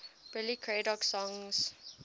billy craddock songs